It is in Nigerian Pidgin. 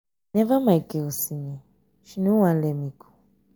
whenever my girl see me she no wan let me go.